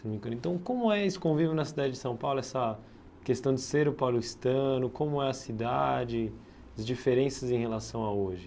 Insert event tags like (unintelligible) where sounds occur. (unintelligible) Então, como é esse convívio na cidade de São Paulo, essa questão de ser o paulistano, como é a cidade, as diferenças em relação a hoje?